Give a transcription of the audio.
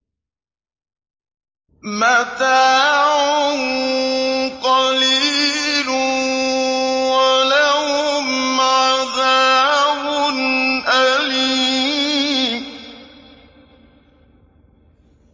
مَتَاعٌ قَلِيلٌ وَلَهُمْ عَذَابٌ أَلِيمٌ